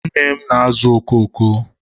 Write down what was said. nne m na-azụ oko oko.